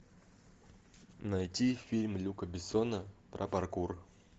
найти фильм люка бессона про паркур